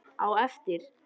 Á eftir.